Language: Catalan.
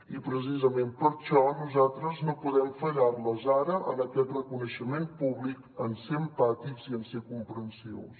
i precisament per això nosaltres no podem fallar los ara en aquest reconeixement públic en ser empàtics i en ser comprensius